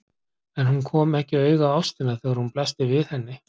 En hún kom ekki auga á ástina þegar hún blasti við henni.